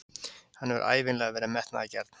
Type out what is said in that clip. Hann hefur ævinlega verið metnaðargjarn.